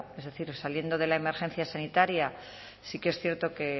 es decir saliendo de la emergencia sanitaria sí que es cierto que